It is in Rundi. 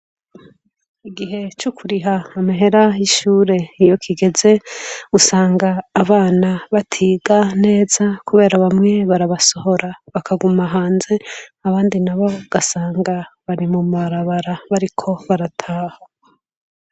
Igihe co kuriha amehera y'ishure iyo kigeze usanga abana batiga neza kubera bamwe barabasohora bakaguma hanze abandi nabo gasanga bari mumarabara bariko barataha.